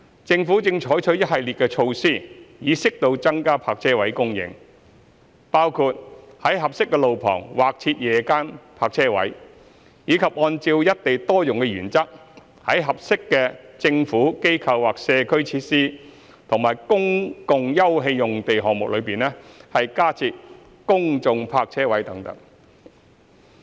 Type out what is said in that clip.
政府正採取一系列措施，以適度增加泊車位供應，包括在合適的路旁劃設夜間泊車位，以及按照"一地多用"的原則在合適的"政府、機構或社區"設施和公共休憩用地項目中加設公眾泊車位等。